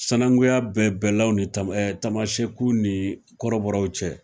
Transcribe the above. Sɛnɛnguya bɛ bɛɛlaw ni tama e tamasɛku ni kɔrɔbɔrɔw cɛ